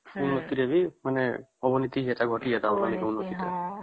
ଋତୁ ରେ ମାନେ